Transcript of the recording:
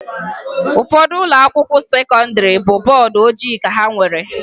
Ụfọdụ ụlọakwụkwọ sekọndịrị bụ bọọdụ ojii ka ha nwere